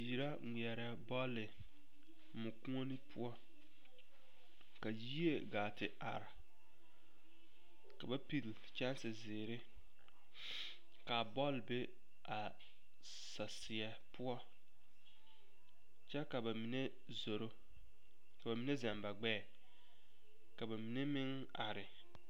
Biiri la ŋmeɛrɛ bɔl mɔkuoni poɔ ka yie gaa te are ka ba pili o kyɛnsezeere ka a bɔl be saseɛ poɔ kyɛ ka ba mine zoro ka ba mine zɛle ba gbɛɛ ka ba mine meŋ are.